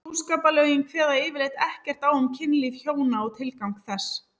Hjúskaparlögin kveða yfirleitt ekkert á um kynlíf hjóna og tilgang þess.